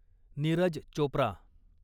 Neeraj Chopra